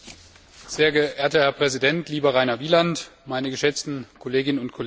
Sehr geehrter Herr Präsident, lieber Rainer Wieland, meine geschätzten Kolleginnen und Kollegen!